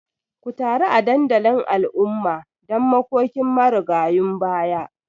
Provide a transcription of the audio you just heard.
Ku taru a dandalin al'umma don makokin marigayun baya